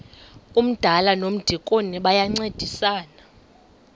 umdala nomdikoni bayancedisana